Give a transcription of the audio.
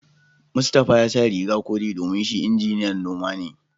Mustapha ya sa riga kore domin shi injiniyan noma ne